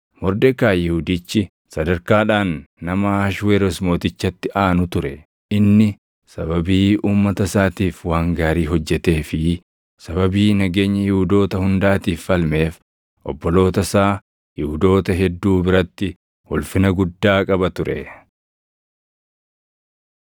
Mordekaayi Yihuudichi sadarkaadhaan nama Ahashweroos Mootichatti aanu ture; inni sababii uummata isaatiif waan gaarii hojjetee fi sababii nageenya Yihuudoota hundaatiif falmeef obboloota isaa Yihuudoota hedduu biratti ulfina guddaa qaba ture.